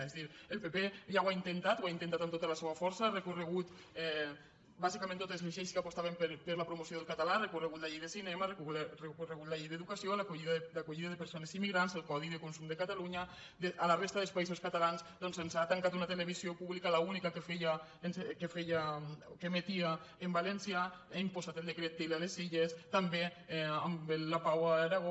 és a dir el pp ja ho ha intentat ho ha intentat amb tota la seua força ha recorregut bàsicament contra totes les lleis que apostaven per la promoció del català ha recorregut contra la llei de cinema ha recorregut contra la llei d’educació la d’acollida de persones immigrants el codi de consum de catalunya a la resta dels països catalans doncs ens ha tancat una televisió pública l’única que emetia en valencià ha imposat el decret til a les illes també amb el lapao a l’aragó